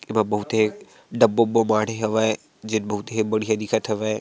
एमा बहुते डब्बा अब्बा माढहे हावय जेन बहुत ही बढ़ियाँ दिखत हवय।